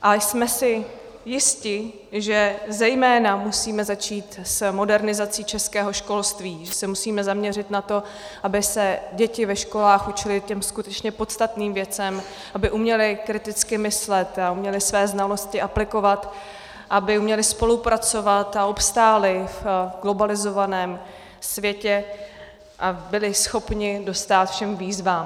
A jsme si jisti, že zejména musíme začít s modernizací českého školství, že se musíme zaměřit na to, aby se děti ve školách učily těm skutečně podstatným věcem, aby uměly kriticky myslet a uměly své znalosti aplikovat, aby uměly spolupracovat a obstály v globalizovaném světě a byly schopny dostát všem výzvám.